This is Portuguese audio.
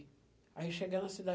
Aí chegando na cidade.